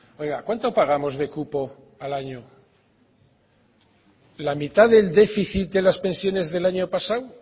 oiga cuánto pagamos de cupo al año la mitad del déficit de las pensiones del año pasado